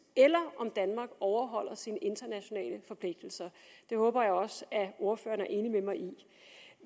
eller om danmark overholder sine internationale forpligtelser det håber jeg også ordføreren er enig med mig i